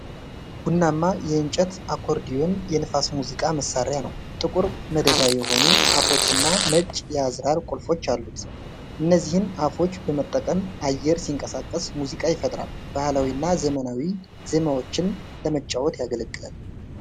ቡናማ፣ የእንጨት አኮርዲዮን የንፋስ ሙዚቃ መሣሪያ ነው። ጥቁር መደዳ የሆኑ አፉዎችና ነጭ የአዝራር ቁልፎች አሉት። እነዚህን አፉዎች በመጠቀም አየር ሲንቀሳቀስ ሙዚቃ ይፈጥራል። ባህላዊ እና ዘመናዊ ዜማዎችን ለመጫወት ያገለግላል።